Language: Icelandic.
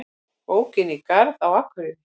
Ók inn í garð á Akureyri